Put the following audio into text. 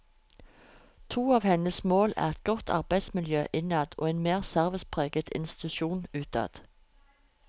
To av hennes mål er et godt arbeidsmiljø innad og en mer servicepreget institusjon utad.